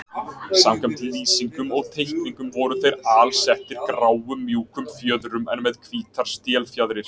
Samkvæmt lýsingum og teikningum voru þeir alsettir gráum mjúkum fjöðrum en með hvítar stélfjaðrir.